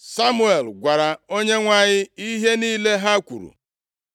Samuel gwara Onyenwe anyị ihe niile ha kwuru.